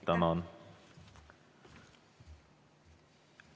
Tänan!